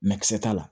t'a la